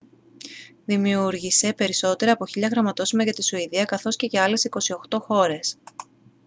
δημιούργησε περισσότερα από 1.000 γραμματόσημα για τη σουηδία καθώς και για άλλες 28 χώρες